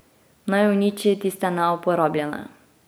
Naj uniči tiste neuporabljene.